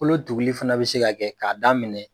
Kolo tuguli fana bɛ se ka kɛ k'a daminɛ